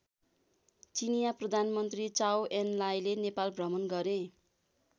चिनियाँ प्रधानमन्त्री चाउ एन लाइले नेपाल भ्रमण गरे।